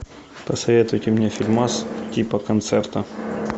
посоветуйте мне фильмас типа концерта